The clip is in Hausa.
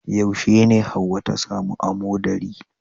Yaushe ne hauwa ta samu amoɗari